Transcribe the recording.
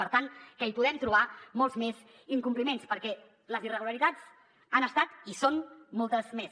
per tant hi podem trobar molts més incompliments perquè les irregularitats han estat i són moltes més